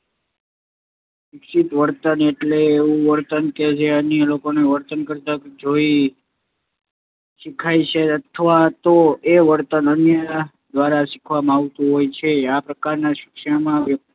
શિક્ષિત વર્તન એટલે એવું વર્તન કે જે અન્ય લોકોને વર્તન કરતાં જોઈને શીખાય છે અથવા તો એ વર્તન અન્ય દ્વારા શીખવવામાં આવતું હોય છે. આ પ્રકારના શિક્ષણમાં વ્ય